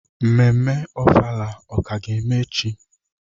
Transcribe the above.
Mmemme ofala ka ga-eme echi?